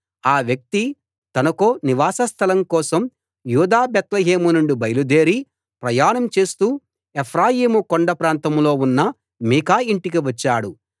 ఆ వ్యక్తి తనకో నివాస స్థలం కోసం యూదా బేత్లెహేము నుండి బయలుదేరి ప్రయాణం చేస్తూ ఎఫ్రాయిము కొండ ప్రాంతంలో ఉన్న మీకా యింటికి వచ్చాడు